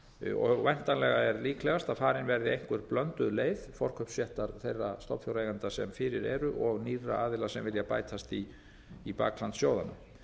og væntanlega er líklegast að farin verði einhver blönduð leið forkaupsréttar þeirra stofnfjáreigenda sem fyrir eru og nýrra aðila sem vilja bætast í bakland sjóðanna